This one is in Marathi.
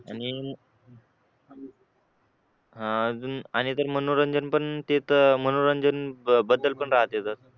आणि अजून आणि तर पण ते तर मनोरंजन बद्दल पण राहतात तर